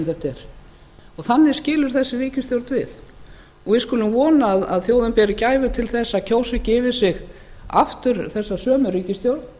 þetta er þannig skilur þessi ríkisstjórn við við skulum vona að þjóðin beri gæfu til þess að kjósa ekki yfir sig aftur þessa sömu ríkisstjórn